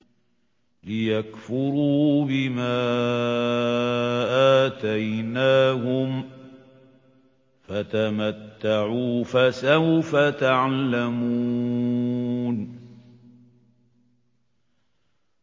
لِيَكْفُرُوا بِمَا آتَيْنَاهُمْ ۚ فَتَمَتَّعُوا ۖ فَسَوْفَ تَعْلَمُونَ